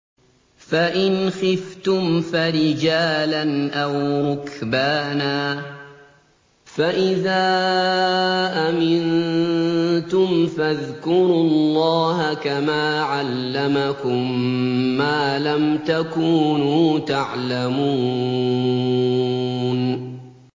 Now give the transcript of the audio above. فَإِنْ خِفْتُمْ فَرِجَالًا أَوْ رُكْبَانًا ۖ فَإِذَا أَمِنتُمْ فَاذْكُرُوا اللَّهَ كَمَا عَلَّمَكُم مَّا لَمْ تَكُونُوا تَعْلَمُونَ